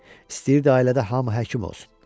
İstəyirdi ailədə hamı həkim olsun.